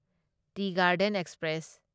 T Garden express